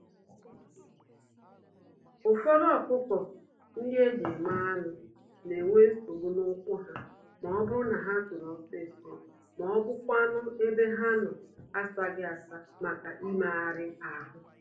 Ụfọdụ ọkụkọ-ndị-eji-eme-anụ n'enwe nsogbu n'ụkwụ ha, mọbụrụ na ha tòrò ọsịsọ, mọbụkwanụ̀ ebe ha nọ asaghị-asa màkà imegàrà ahụ.